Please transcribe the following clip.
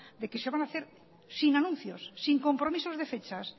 de que se van hacer sin anuncios sin compromisos de fechas